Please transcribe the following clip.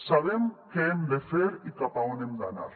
sabem què hem de fer i cap a on hem d’anar